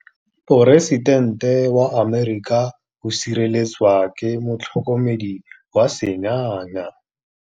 Poresitêntê wa Amerika o sireletswa ke motlhokomedi wa sengaga.